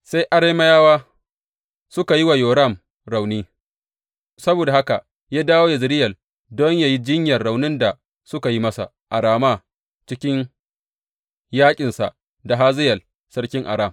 Sai Arameyawa suka yi wa Yoram rauni; saboda haka ya dawo Yezireyel don yă yi jinyar raunin da suka yi masa a Rama cikin yaƙinsa da Hazayel sarkin Aram.